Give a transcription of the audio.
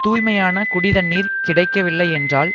தூய்மையான குடி தண்ணீர் கிடைக்கவில்லை என்றால்